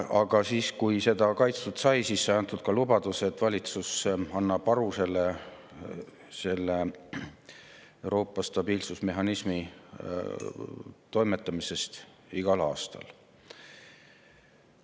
Aga siis, kui seda kaitstud sai, sai antud ka lubadus, et valitsus annab selle Euroopa stabiilsusmehhanismi toimetamisest igal aastal aru.